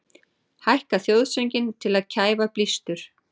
Hækka þjóðsönginn til að kæfa blístur